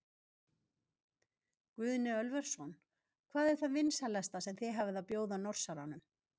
Guðni Ölversson: Hvað er það vinsælasta sem þið hafið að bjóða Norsaranum?